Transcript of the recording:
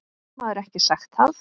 Getur maður ekki sagt það?